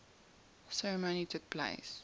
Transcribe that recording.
ceremony took place